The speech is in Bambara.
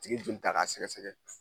Tigi bɛ joli ta ka sɛgɛsɛgɛ.